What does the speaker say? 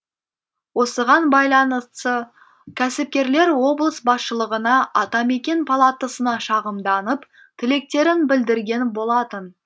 осығын байланысы кәсіпкерлер облыс басшылығына атамекен палатасына шағымданып тілектерін білдірген болатын